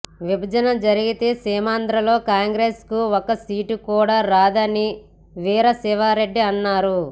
విభజన జరిగితే సీమాంధ్రలో కాంగ్రెస్ కు ఒక్క సీటు కూడా రాదని వీరశివారెడ్డి అన్నారు